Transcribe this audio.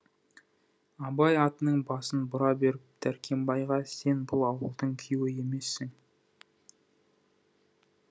абай атының басын бұра беріп дәркембайға сен бұл ауылдың күйеуі емессің